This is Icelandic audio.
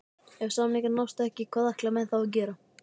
Ef samningar nást ekki, hvað ætla menn þá að gera?